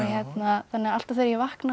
þannig að alltaf þegar ég vakna og